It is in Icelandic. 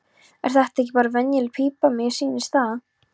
Er þetta ekki bara venjuleg pípa, mér sýnist það.